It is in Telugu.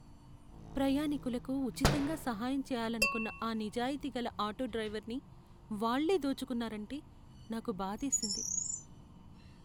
ప్రయాణీకులకు ఉచితంగా సహాయం చేయాలనుకున్న ఆ నిజాయితీగల ఆటో డ్రైవర్ని వాళ్ళే దోచుకున్నారంటే, నాకు బాధేసింది.